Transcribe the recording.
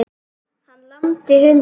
Hann lamdi hunda